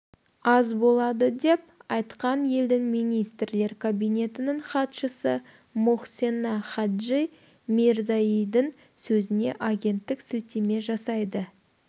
аз болады деп айтқан елдің министрлер кабинетінің хатшысы мохсена хаджи мирзаеидің сөзіне агенттік сілтеме жасайды